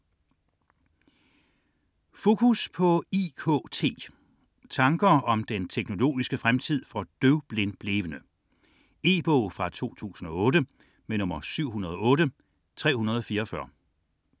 38.71 Focus på IKT: tanker om den teknologiske fremtid for døvblindblevne E-bog 708344 2008.